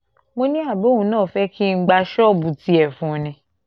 mo ní àbí òun náà fẹ́ kí n gba ṣọ́ọ̀bù tiẹ̀ fún un ni